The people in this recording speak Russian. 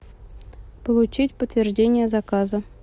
получить подтверждение заказа